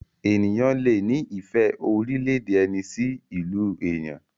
ènìyàn lẹ ní ìfẹ́ orílẹ̀-èdè ẹni sí ilú èyán.